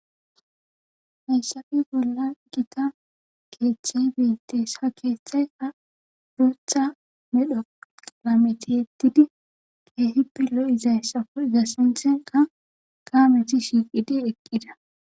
Hayssafe bolla gita keethay beetttees ha keethayka bootha medho qalame tiyettidi keehippe lo7izayssako iza sintheyka kaameti shiiqidi eqqida.